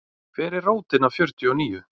Hver er rótin af fjörtíu og níu?